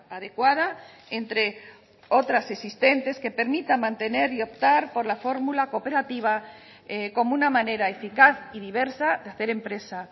adecuada entre otras existentes que permita mantener y optar por la fórmula cooperativa como una manera eficaz y diversa de hacer empresa